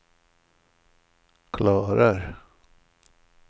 klarar